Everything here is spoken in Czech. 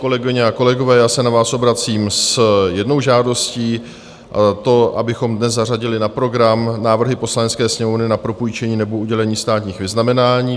Kolegyně a kolegové, já se na vás obracím s jednou žádostí - to, abychom dnes zařadili na program návrhy Poslanecké sněmovny na propůjčení nebo udělení státních vyznamenání.